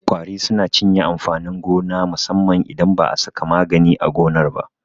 Ƙwari suna cinye amfanin gona musamman idan ba a saka magani a gonar ba.